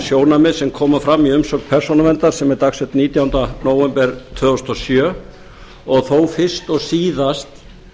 sjónarmið sem koma fram í umsögn persónuverndar sem er dagsett nítjánda nóvember tvö þúsund og sjö og þó fyrst og síðast